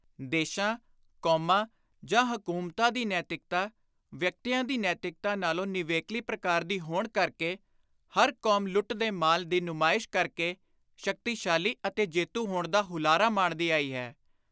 ਦੇਸ਼ਾਂ, ਕੌਮਾਂ ਜਾਂ ਹਕੂਮਤਾਂ ਦੀ ਨੈਤਿਕਤਾ ਵਿਅਕਤੀਆਂ ਦੀ ਨੈਤਿਕਤਾ ਨਾਲੋਂ ਨਿਵੇਕਲੀ ਪ੍ਰਕਾਰ ਦੀ ਹੋਣ ਕਰਕੇ ਹਰ ਕੌਮ ਲੁੱਟ ਦੇ ਮਾਲ ਦੀ ਨੁਮਾਇਸ਼ ਕਰ ਕੇ ਸ਼ਕਤੀਸ਼ਾਲੀ ਅਤੇ ਜੇਤੂ ਹੋਣ ਦਾ ਹੁਲਾਰਾ ਮਾਣਦੀ ਆਈ ਹੈ।